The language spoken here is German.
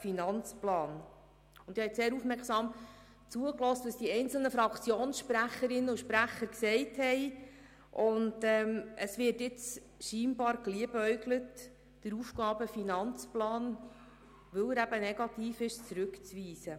Ich habe den einzelnen Fraktionssprecherinnen und -sprechern sehr aufmerksam zugehört, und offenbar wird jetzt damit geliebäugelt, den AFP, weil er eben negativ ist, zurückzuweisen.